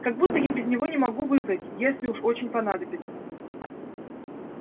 как будто я без него не могу выбрать если уж очень понадобится